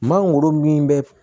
Mangoro min bɛ